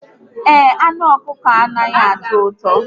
Ee, anụ ọkụkọ anataghi atọ ụtọ